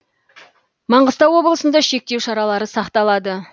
маңғыстау облысында шектеу шаралары сақталады